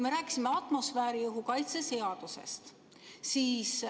Me rääkisime atmosfääriõhu kaitse seadusest.